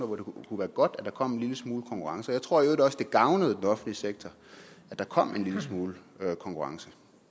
hvor det kunne være godt at der kom en lille smule konkurrence jeg tror i øvrigt også at det gavnede den offentlige sektor at der kom en lille smule konkurrence